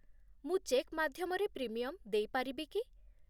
ମୁଁ ଚେକ୍ ମାଧ୍ୟମରେ ପ୍ରିମିୟମ୍ ଦେଇ ପାରିବି କି?